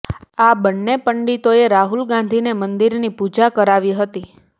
આ બંને પંડિતોએ રાહુલ ગાંધીને મંદિરની પુજા કરાવી હતી